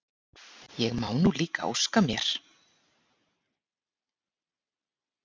Ég má nú líka óska mér!